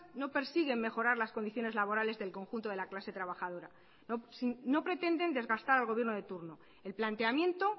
no persigue mejorar las condiciones laborales del conjunto de la clase trabajadora no pretenden desgastar al gobierno de turno el planteamiento